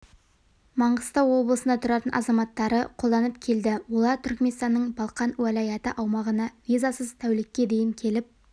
маңғыстау облысында тұратын азаматтары қолданып келді олар түрікменстанның балқан уәлайаты аумағына визасыз тәулікке дейін келіп